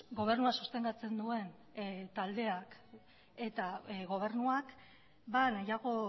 gobernua sostengatzen duen taldeak eta gobernuak nahiago